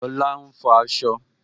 Lola ń fọ asọ